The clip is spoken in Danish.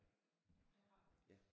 Det har jeg